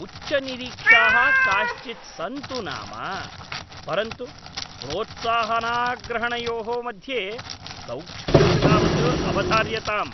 उच्चनिरीक्षाः काश्चित् सन्तु नाम, परन्तु प्रोत्साहनाग्रहणयोः मध्ये सौक्ष्म्यं तावत् अवधार्यताम्।